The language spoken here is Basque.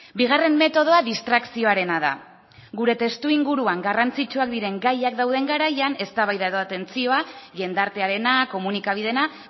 bigarren metodoa distrakzioarena da gure testuinguruan garrantzitsuak diren gaiak dauden garaian eztabaida edo atentzioa jendartearena komunikabideena